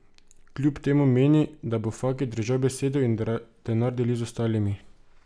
Kljub temu meni, da bo Faki držal besedo in denar delil z ostalimi.